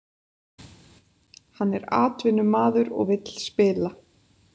Hann er atvinnumaður og vill spila